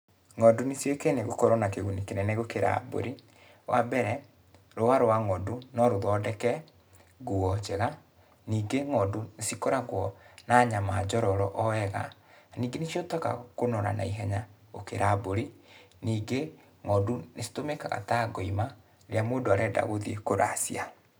Ng'ondu nĩciũĩkaine gũkorwo na kĩguni kĩnene gũkĩra mbũri. Wa mbere, rũa rwa ng'ondu, no rũthondeke, nguo njega. Ningĩ ng'ondu nĩcikoragũo na nyama njororo o wega. Ningĩ nĩcihotekaga kũnora naihenya, gũkĩra mbũri. Ningĩ ng'ondu nĩcitũmĩkaga ta ngoima, rĩrĩa mũndũ arenda gũthiĩ kũracia.